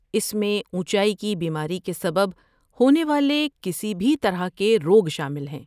اس میں اونچائی کی بیماری کے سبب ہونے والے کسی بھی طرح کے روگ شامل ہیں۔